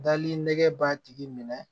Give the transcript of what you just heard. Dali nɛgɛ b'a tigi minɛ